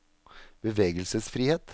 bevegelsesfrihet